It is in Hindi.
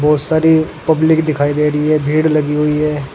बहोत सारी पब्लिक दिखाई दे रही है भीड़ लगी हुई है।